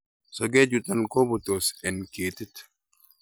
sokechuton kobutos en ketit